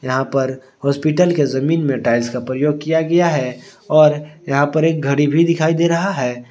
यहां पर हॉस्पिटल के जमीन में टाइल्स का प्रयोग किया गया है और यहां पर एक घड़ी भी दिखाई दे रहा है।